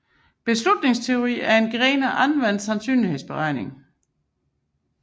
Beslutningsteori er en gren af anvendt sandsynlighedsregning